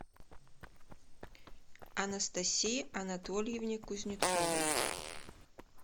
анастасии анатольевне кузнецовой